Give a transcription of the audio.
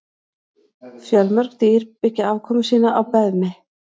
Fjölmörg dýr byggja afkomu sína á beðmi.